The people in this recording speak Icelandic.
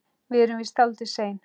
Við erum víst dálítið sein.